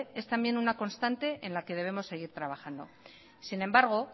es también una constante en la que debemos seguir trabajando sin embargo